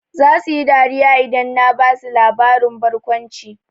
Zasu yi dariya idan na basu labarin barkwanci.